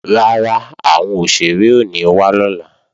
Rárá, àwọn òṣèré ò ní wá lọ́la